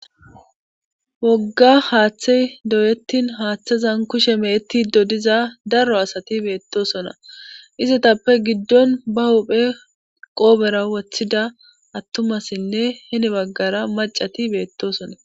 wogga haaththey doyettin haaththezan kushe meetti dodiza daro asati beettosona izatappe giddon ba hophe qoobera woththida attumassinne heni baggara macati beettosona